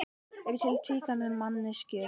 Eru til tvíkynja manneskjur?